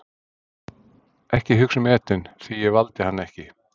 Ekki hugsa um Eden því ég valdi hann ekki.